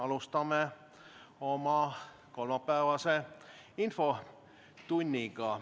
Alustame oma kolmapäevast infotundi.